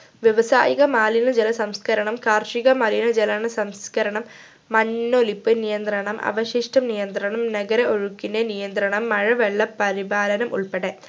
വ്യവസായിക മാലിന്യ ജല സംസ്കരണം കാർഷിക മലിന ജല സംസ്കരണം മണ്ണൊലിപ്പ് നിയന്ത്രണം അവശിഷ്ട നിയന്ത്രണം നഗര ഒഴുക്കിൻ്റെ നിയന്ത്രണം മഴവെള്ള പരിപാലനം ഉൾപ്പെടെ